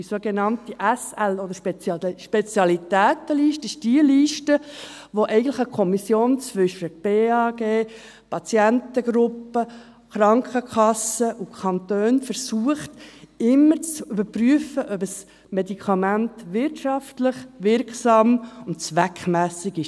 Die sogenannte SL, Spezialitätenliste, ist jene Liste, welche eine Kommission zwischen Bundesamt für Gesundheit (BAG), Patientengruppe, Krankenkassen und Kantonen immer zu überprüfen versucht, ob ein Medikament wirtschaftlich, wirksam und zweckmässig ist.